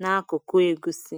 n’akụkụ egusi.